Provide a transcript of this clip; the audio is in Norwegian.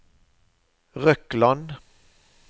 Røkland